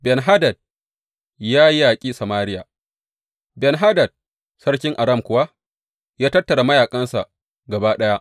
Ben Hadad ya yaƙi Samariya Ben Hadad sarkin Aram kuwa ya tattara mayaƙansa gaba ɗaya.